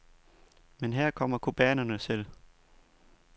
Men her kommer cubanerne selv.